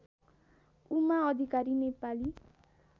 Uma Adhikari Nepali